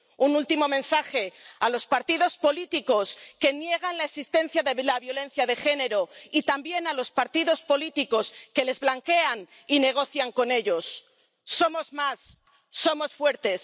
Un último mensaje a los partidos políticos que niegan la existencia de la violencia de género y también a los partidos políticos que les blanquean y negocian con ellos Somos más, somos fuertes.